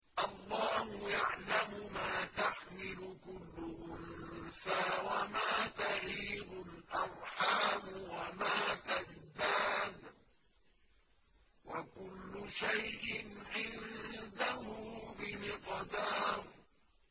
اللَّهُ يَعْلَمُ مَا تَحْمِلُ كُلُّ أُنثَىٰ وَمَا تَغِيضُ الْأَرْحَامُ وَمَا تَزْدَادُ ۖ وَكُلُّ شَيْءٍ عِندَهُ بِمِقْدَارٍ